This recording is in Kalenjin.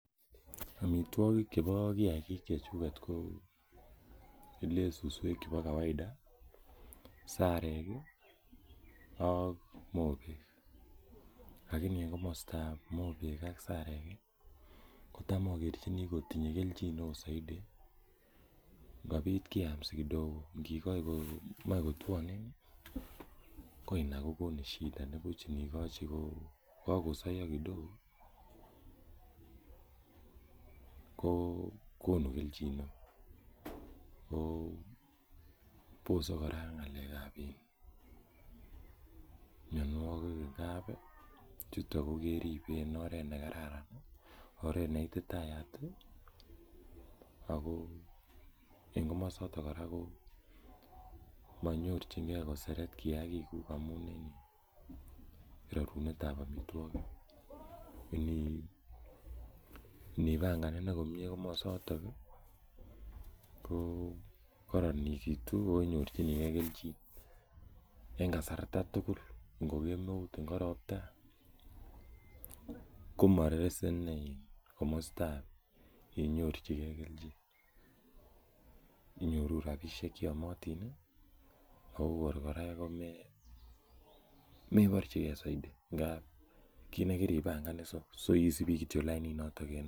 Amitwogik chepo kiakik chechuket ko le suswek chepo kawaida, sarek i ak mogek lakini en komastap mogek ak sarek ko tam akerchini kotinye kelchin saidi ngopit keam si kidogo ngikachi komaen kotuanen ko ina kokonu shida. Ko pich ngikachi ko kakosaiya kidogo ko konu kelchin ne oo. Ko pose kora ng'alek ap mianwogik eng' kap chuto ke keripe en oret ne kararan i ako oreet ne ititayat i ako eng' komastak kora ko manyorchingei koseret kiakikuk amun en rerunetvap amitwogik. Inipangan komye komasatak ko kararanitu inyorchini gei kelchin eng' kasarta tugul, ngo kemeut, ngo ropta ko ma rese ne komastap inyorchigei kelchin. Iyorun rapishek che yamatin kou kor kora komeparchigei saidi ngap ki ne kiripangan so isupi kityo laininoton en yon.